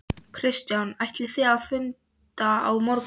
Kristján: Ætlið þið að funda á morgun?